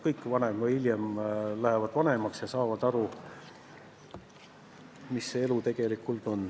Kõik jäävad varem või hiljem vanaks ja saavad aru, mis elu see vanainimese elu tegelikult on.